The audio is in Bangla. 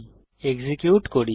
এক্সিকিউট করি